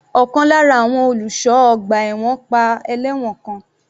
Ọ̀kan lára àwọn olùṣọ́ ọgbà ẹ̀wọ̀n pa ẹlẹ́wọ̀n kan.